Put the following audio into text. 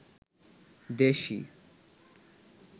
দেশি